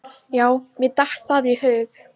Já mér datt það í hug!